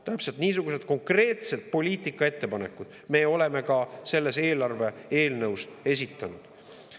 Täpselt niisugused konkreetsed poliitikaettepanekud me oleme ka selle eelarve-eelnõu kohta esitanud.